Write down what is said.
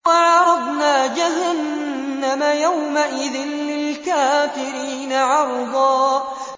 وَعَرَضْنَا جَهَنَّمَ يَوْمَئِذٍ لِّلْكَافِرِينَ عَرْضًا